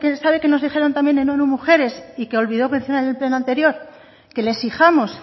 sabe qué nos dijeron también en onu mujeres y que olvidó mencionar en el pleno anterior que le exijamos